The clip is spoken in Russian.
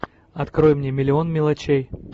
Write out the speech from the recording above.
открой мне миллион мелочей